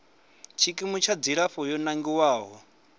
tshikimu tsha dzilafho yo nangiwaho